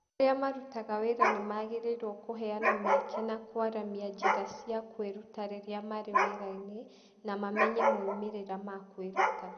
Arĩa marutaga wĩra nĩ magĩrĩirũo kũheana mĩeke na kwaramia njĩra cia kwĩruta rĩrĩa marĩ wĩra-inĩ, na mamenye moimĩrĩro ma kwĩruta.